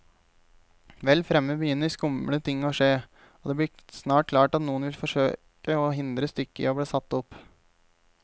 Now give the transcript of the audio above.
Vel fremme begynner skumle ting å skje, og det blir snart klart at noen vil forsøke å hindre stykket i bli satt opp.